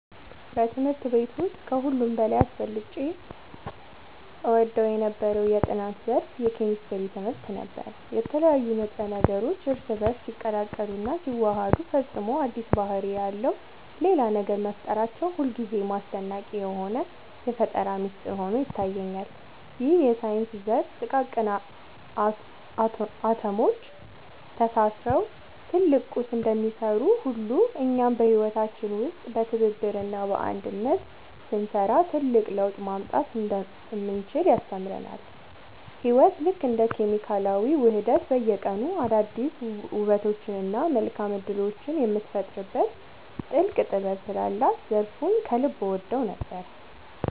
በትምህርት ቤት ውስጥ ከሁሉ በላይ አብልጬ እወደው የነበረው የጥናት ዘርፍ የኬሚስትሪ ትምህርት ነበር። የተለያዩ ንጥረ ነገሮች እርስ በእርስ ሲቀላቀሉና ሲዋሃዱ ፈጽሞ አዲስ ባህሪ ያለው ሌላ ነገር መፍጠራቸው ሁልጊዜም አስደናቂ የሆነ የፈጠራ ሚስጥር ሆኖ ይታየኛል። ይህ የሳይንስ ዘርፍ ጥቃቅን አቶሞች ተሳስረው ትልቅ ቁስ እንደሚሰሩ ሁሉ፣ እኛም በህይወታችን ውስጥ በትብብርና በአንድነት ስንሰራ ትልቅ ለውጥ ማምጣት እንደምንችል ያስተምረናል። ህይወት ልክ እንደ ኬሚካላዊ ውህደት በየቀኑ አዳዲስ ውበቶችንና መልካም እድሎችን የምትፈጥርበት ጥልቅ ጥበብ ስላላት ዘርፉን ከልብ እወደው ነበር።